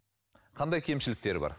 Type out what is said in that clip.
қандай кемшіліктері бар